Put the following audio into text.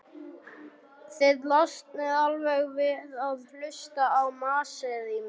Þið losnið alveg við að hlusta á masið í mér.